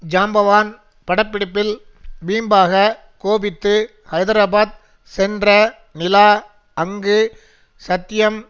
ஜாம்பவான் பட பிடிப்பில் வீம்பாக கோபித்து ஹைதராபாத் சென்ற நிலா அங்கு சத்யம்